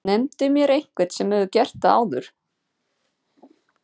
Nefndu mér einhvern sem hefur gert það áður?!